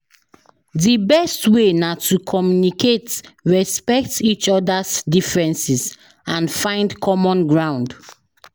Di best way na to communicate, respect each oda's differences and find common ground.